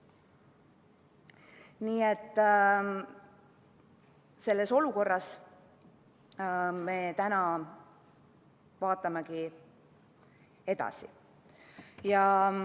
Nii et selles olukorras me täna vaatamegi edasi.